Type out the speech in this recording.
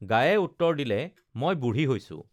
গায়ে উত্তৰ দিলে মই বুঢ়ী হৈছো